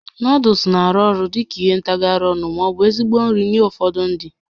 Nuuduls na-arụ ọrụ dị ka ihe ntagharị ọnụ ma ọ bụ ezigbo nri nye ụfọdụ ndị